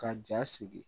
Ka ja sigi